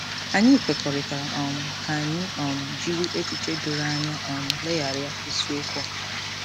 Anyị kwekọrịtara um ka anyị um jiri echiche doro anya um legharịa isiokwu a.